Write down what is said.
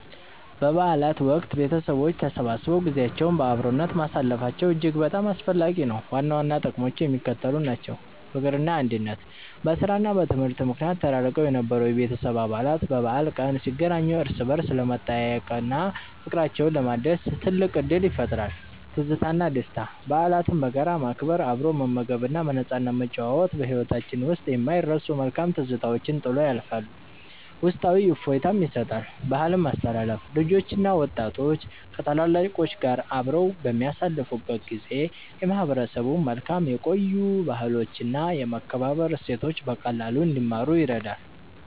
በበዓላት ወቅት ቤተሰቦች ተሰብስበው ጊዜያቸውን በአብሮነት ማሳለፋቸው እጅግ በጣም አስፈላጊ ነው። ዋና ዋና ጥቅሞቹ የሚከተሉት ናቸው፦ ፍቅርና አንድነት፦ በሥራና በትምህርት ምክንያት ተራርቀው የነበሩ የቤተሰብ አባላት በበዓል ቀን ሲገናኙ እርስ በርስ ለመጠያየቅና ፍቅራቸውን ለማደስ ትልቅ ዕድል ይፈጥራል። ትዝታና ደስታ፦ በዓላትን በጋራ ማክበር፣ አብሮ መመገብና በነፃነት መጨዋወት በሕይወታችን ውስጥ የማይረሱ መልካም ትዝታዎችን ጥሎ ያልፋል፤ ውስጣዊ እፎይታም ይሰጣል። ባህልን ማስተላለፍ፦ ልጆችና ወጣቶች ከታላላቆች ጋር አብረው በሚያሳልፉበት ጊዜ የማህበረሰቡን መልካም የቆዩ ባህሎችና የመከባበር እሴቶች በቀላሉ እንዲማሩ ይረዳል።